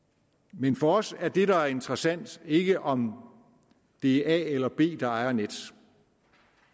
men for os er det der er interessant ikke om det er a eller b der ejer nets